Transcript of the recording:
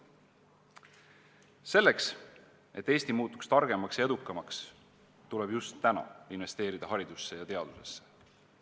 Selleks, et Eesti muutuks targemaks ja edukamaks, tuleb just täna investeerida haridusse ja teadusesse.